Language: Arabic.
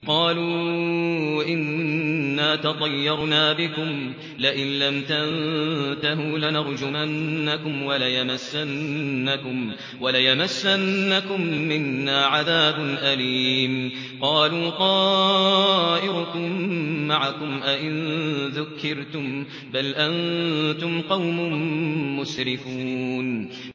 قَالُوا إِنَّا تَطَيَّرْنَا بِكُمْ ۖ لَئِن لَّمْ تَنتَهُوا لَنَرْجُمَنَّكُمْ وَلَيَمَسَّنَّكُم مِّنَّا عَذَابٌ أَلِيمٌ